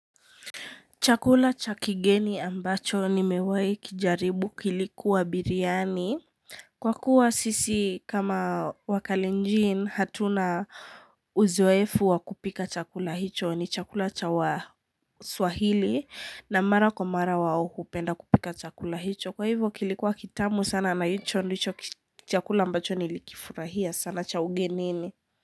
Chakula cha kigeni ambacho ni mewahi kijaribu kilikuwa biryani. Kwa kuwa sisi kama wakalinjin hatuna uzoefu wa kupika chakula hicho ni chakula cha wa swahili na mara kwa mara wao hupenda kupika chakula hicho. Kwa hivyo kilikuwa kitamu sana na hicho ndicho chakula ambacho nilikifurahia sana cha ugenini.